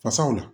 Fasaw la